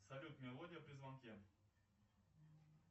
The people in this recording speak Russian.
салют мелодия при звонке